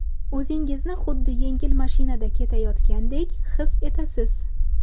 O‘zingizni xuddi yengil mashinada ketayotgandek his etasiz.